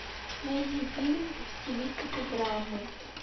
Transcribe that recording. найди фильм в стилистике драмы